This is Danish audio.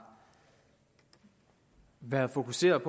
været fokuseret